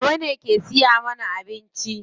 Baba ne ke siya mana abinci.